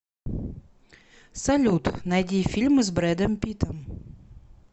салют найди фильмы с брэдом питом